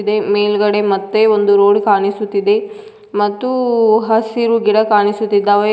ಇದೆ ಮೇಲ್ಗಡೆ ಮತ್ತೆ ಒಂದು ರೋಡ್ ಕಾಣಿಸುತ್ತಿದೆ ಮತ್ತು ಹಸಿರು ಗಿಡ ಕಾಣಿಸುತ್ತಿದ್ದಾವೆ.